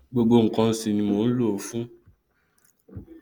gbogbo nkan sì ni mò nlò ó fún